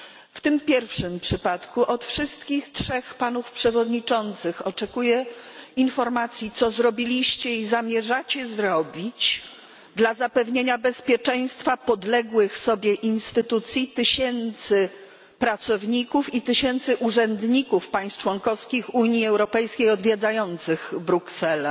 W tym pierwszym przypadku od wszystkich trzech panów przewodniczących oczekuję informacji, co zrobiliście i zamierzacie zrobić dla zapewnienia bezpieczeństwa podległych sobie instytucji, tysięcy pracowników i tysięcy urzędników państw członkowskich Unii Europejskiej odwiedzających Brukselę.